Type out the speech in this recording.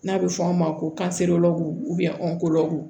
N'a bɛ fɔ a ma ko